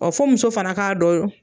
fɔ muso fana k'a dɔyo